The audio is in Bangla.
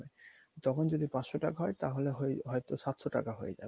তখন যদি পাঁচশ টাকা হয় তাহলে হয় হয়তো সাতশ টাকা হয়ে যাবে